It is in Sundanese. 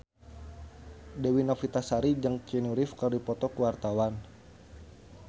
Dewi Novitasari jeung Keanu Reeves keur dipoto ku wartawan